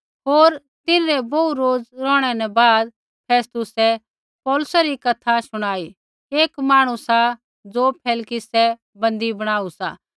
होर तिन्हरै बोहू रोज़ रौहणै न बाद फेस्तुसै पौलुसै री कथा शुणाई एक मांहणु सा ज़ो फेलिक्सै बन्दी बणाऊ सा